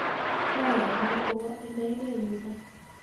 Moyanii kowo inegei yuno.